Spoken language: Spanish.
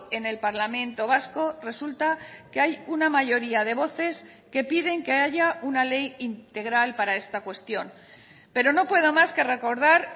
en el parlamento vasco resulta que hay una mayoría de voces que piden que haya una ley integral para esta cuestión pero no puedo más que recordar